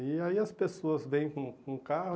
E aí as pessoas vêm com o com o carro